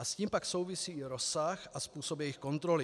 A s tím pak souvisí i rozsah a způsob jejich kontroly.